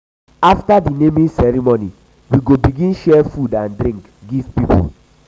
after di naming ceremony we go begin share food and um drink give pipo.